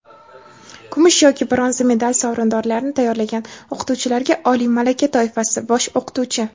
kumush yoki bronza medal sovrindorlarini tayyorlagan o‘qituvchilarga – oliy malaka toifasi (bosh o‘qituvchi).